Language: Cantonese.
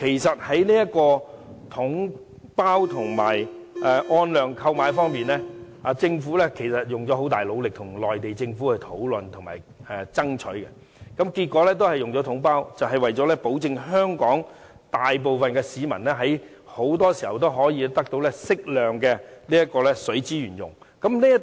在"統包總額"和按量購買之間，政府花了很大努力跟內地政府討論和爭取，結果還是使用"統包總額"模式，就是為了保證香港大部分市民長期得到適量的水資源使用。